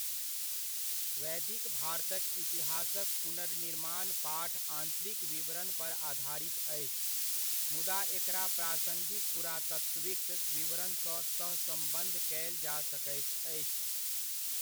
वैदिक भारतक इतिहासक पुनर्निर्माण पाठ आन्तरिक विवरण पर आधारित अछि, मुदा एकरा प्रासङ्गिक पुरातात्विक विवरणसँ सहसम्बद्ध कयल जा सकैत अछि।